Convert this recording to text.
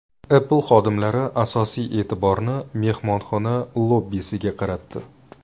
Apple xodimlari asosiy e’tiborni mehmonxona lobbisiga qaratdi.